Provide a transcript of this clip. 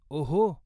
ओहो!